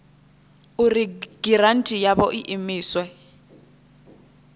uri giranthi yavho i imiswe